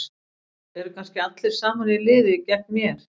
Eru kannski allir saman í liði gegn mér?